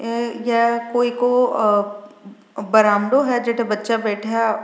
ए गया कोई को बरांवडों है जेठ बच्चा बैठया --